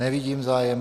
Nevidím zájem.